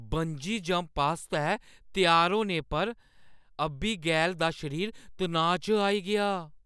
Bungee jump आस्तै त्यार होने पर अबीगैल दा शरीर तनाऽ च आई गेआ ।